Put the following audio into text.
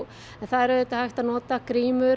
það er auðvitað hægt að nota